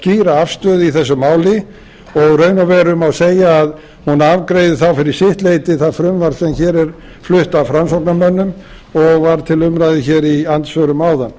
skýra afstöðu í þessu máli og í raun og veru má segja að hún afgreiði þá fyrir sitt leyti það frumvarp sem hér er flutt af framsóknarmönnum og var til umræðu hér í andsvörum áðan